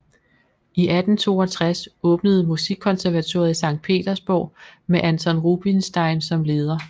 I 1862 åbnede musikkonservatoriet i Sankt Petersborg med Anton Rubinstein som leder